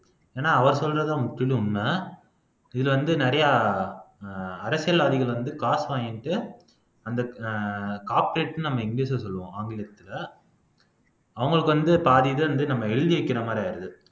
ஏன்னா அவர் சொல்றதுதான் முற்றிலும் உண்மை இதுல வந்து நிறையா அஹ் அரசியல்வாதிகள் வந்து காசு வாங்கிட்டு அந்த ஆஹ் corporate ன்னு நம்ம ஆங்கிலச்ல சொல்லுவோம் ஆங்கிலத்துல அவங்களுக்கு வந்து பாதி இதை வந்து நம்ம எழுதி வைக்கிற மாறி ஆயிடுது